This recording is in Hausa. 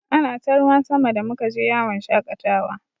Ana ta ruwan sama da muka je yawon shaƙatawa.